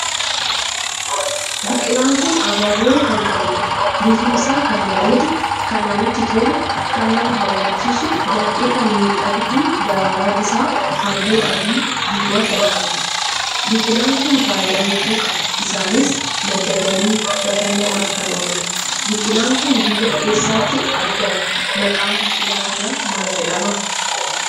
Biqilaan kun abaaboo kan qabuudha. bifni isaa kan bareedu, kan namatti tolu, kan nama hawwachiisu, baay'ee kan miidhagdu daraaraan isaa halluu adii, diimaa kan qabuudha. biqilaan kun faayidaa hedduu qaba isaanis madda galii bashannanaaf kan ooluudha. biqilaan kun biyya eessatti argama maqaan biqilaa kanaa maal jedhama